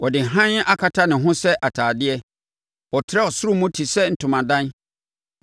Ɔde hann akata ne ho sɛ atadeɛ; ɔtrɛ ɔsoro mu te sɛ ntomadan,